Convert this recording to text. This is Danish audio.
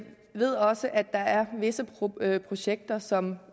ved også at der er visse projekter som